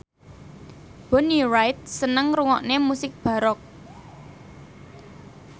Bonnie Wright seneng ngrungokne musik baroque